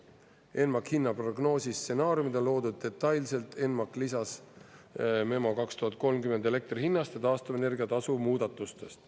ENMAK-i hinna prognoosi stsenaariumid on loodud detailselt ENMAK lisas Memo 2030 elektrihinnast ja taastuvenergia tasu muudatustest.